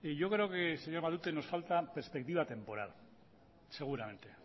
yo creo que señor matute nos falta perspectiva temporal seguramente